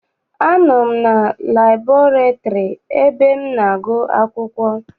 Anọ m na laịburarị ebe m na-agụ akwụkwọ.